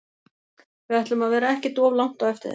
Við ætlum að vera ekkert of langt á eftir þeim.